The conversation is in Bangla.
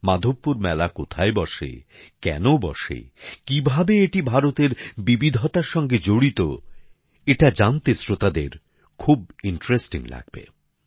মাধবপুর মেলা কোথায় বসে কেন বসে কিভাবে এটি ভারতের বিবিধতার সঙ্গে জড়িত এটা জানতে শ্রোতাদের খুব আকর্ষণীয় লাগবে